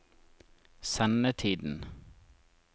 sendetiden